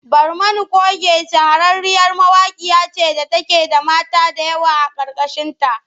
Barmani coge shahararriyar mawaƙiya ce da take da mata da yawa a ƙarƙashinta.